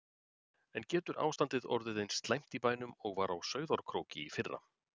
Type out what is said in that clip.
En getur ástandið orðið eins slæmt í bænum og var á Sauðárkróki í fyrra?